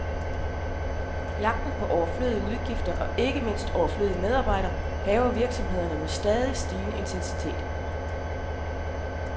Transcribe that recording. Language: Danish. Jagten på overflødige udgifter, og ikke mindst overflødige medarbejdere, hærger virksomhederne med stadig stigende intensitet.